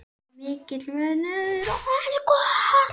Þar er mikill munur.